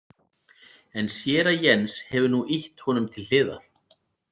En séra Jens hefur nú ýtt honum til hliðar.